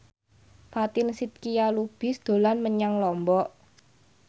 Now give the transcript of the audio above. Fatin Shidqia Lubis dolan menyang Lombok